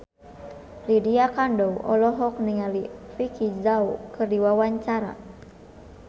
Lydia Kandou olohok ningali Vicki Zao keur diwawancara